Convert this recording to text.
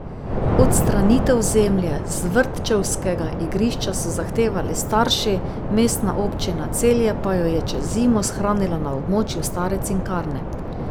Odstranitev zemlje z vrtčevskega igrišča so zahtevali starši, Mestna občina Celje pa jo je čez zimo shranila na območju stare Cinkarne.